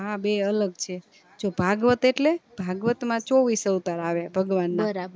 હા બય અલગ છે જો ભાગવત એટલે ભાગવત માં ચોવીશ અવતાર આવે ભગવાન ના